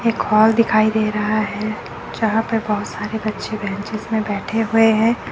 एक हॉल दिखाई दे रहा हैं जहां पे बोहोत सारे बच्चे बेंचेस में बैठे हुए हैं।